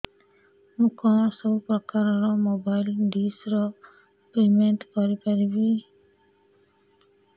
ମୁ କଣ ସବୁ ପ୍ରକାର ର ମୋବାଇଲ୍ ଡିସ୍ ର ପେମେଣ୍ଟ କରି ପାରିବି